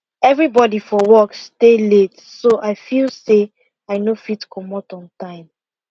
everybody for work stay late so i feel say i no fit comot on time